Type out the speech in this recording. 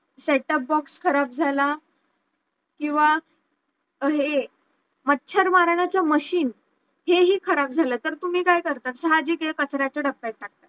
set top box खराब झाला किंवा हे मच्छर मारण्याच्या machine हे हि खराब झालं तर तुम्ही काय करता साहजिक आहे कचऱ्याच्या डब्ब्यात टाकता